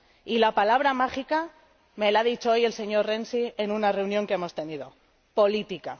Y la palabra mágica me la ha dicho hoy el señor Renzi en una reunión que hemos tenido política.